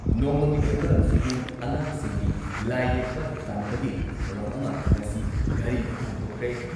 ꯅꯣꯡꯃꯒꯤ ꯑꯣꯏꯕ ꯁ꯭ꯀꯨꯜ ꯑꯉꯥꯡꯁꯤꯡꯒꯤ ꯂꯥꯏꯌꯦꯛꯄ ꯇꯥꯟꯅꯕꯒꯤ ꯊꯧꯔꯝ ꯑꯃ ꯉꯁꯤ ꯘꯔꯤꯗ ꯄꯥꯡꯊꯣꯛꯈ꯭ꯔꯦ ꯫